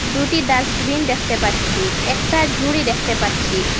দুটি ডাস্টবিন দেখতে পাচ্ছি একটা জুড়ি দেখতে পাচ্ছি।